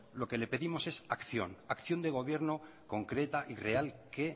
lo que le pedimos es acción de gobierno concreta y real que